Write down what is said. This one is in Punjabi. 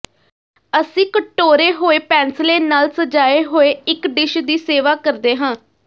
ਅਸੀਂ ਕਟੋਰੇ ਹੋਏ ਪੈਨਸਲੇ ਨਾਲ ਸਜਾਏ ਹੋਏ ਇਕ ਡਿਸ਼ ਦੀ ਸੇਵਾ ਕਰਦੇ ਹਾਂ